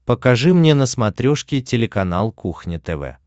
покажи мне на смотрешке телеканал кухня тв